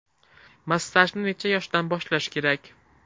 Massajni necha yoshdan boshlash kerak?